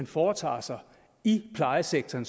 foretager sig i plejesektoren